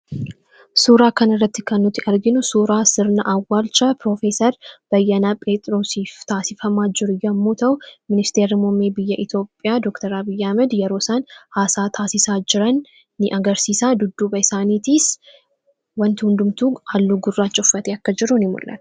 suuraa kan irratti kanut arginu suraa sirna awwalcha profesar bayyana phexrosif taasifamaa jur yommu tau minister mome biyya etiopiyaa doktra biyyamed yerosaan haasaa taasisa jiran n agarsiisa duddu baysaanii tiis wanti hundumtu allu gurra cufat yakkajiruun imolala